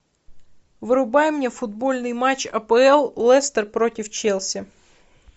врубай мне футбольный матч апл лестер против челси